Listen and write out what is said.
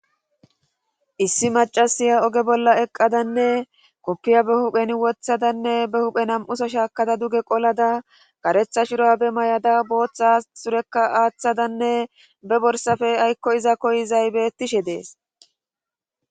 issi macasiya oge bolla eqqadanne koppiya be hupheni wothadanne be huphe nam'uso shaakada duge qolada karetha shrabe mayada booththa surekka aaththadanne be borsafe aykko iza koyizay bettishe dees